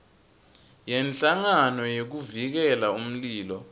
yenhlangano yekuvikela umlilo